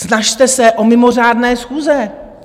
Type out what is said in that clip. Snažte se o mimořádné schůze!